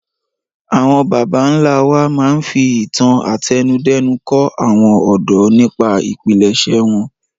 Àwọn baba ńlá wa máa ń fi ìtàn àtẹnudẹ́nu kọ́ àwọn ọ̀dọ́ nípa ìpilẹ̀ṣẹ̀ wọn